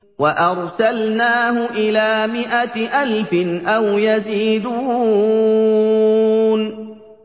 وَأَرْسَلْنَاهُ إِلَىٰ مِائَةِ أَلْفٍ أَوْ يَزِيدُونَ